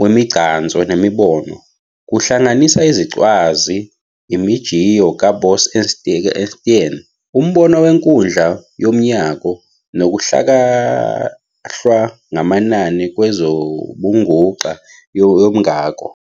wemigcanso nemibono, kuhlanganisa izicwazi, imijiyo kaBose-Einstein, umbono wenkundla yomngako, nokuhlakahlwa ngamanani kwezobunguxa yomngako.